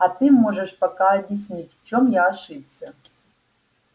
а ты можешь пока объяснить в чем я ошибся